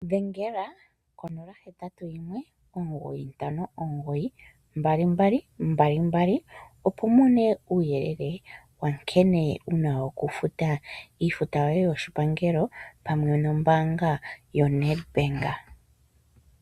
Dhengela ko081 9592222, opo wu mone uuyele wa nkene wu na okufuta iifuta yoye yoshipangelo pamwe nombaanga yoNedbank.